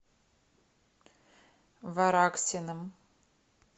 вараксиным